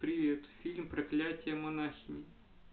привет фильм проклятие монахини